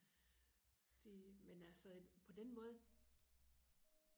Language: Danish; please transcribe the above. det men altså på den måde